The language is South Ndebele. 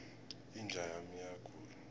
inja yami iyagula